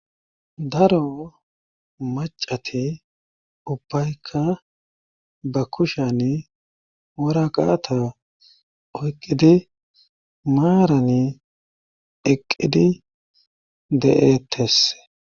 daro macati ubbayka ba kushan waraqaata oyqqidi maarani eqqidi de7ettes